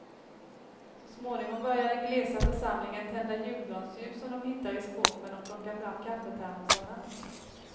Så småningom börjar den glesa församlingen tända julgransljus som de hittar i skåpen och plocka fram kaffetermosarna.